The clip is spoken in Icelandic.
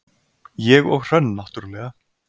ég og Hrönn náttúrlega.